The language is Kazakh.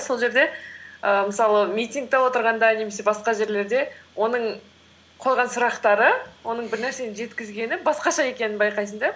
сол жерде ііі мысалы митингте отырғанда немесе басқа жерлерде оның қойған сұрақтары оның бір нәрсені жеткізгені басқаша екенін байқайсың да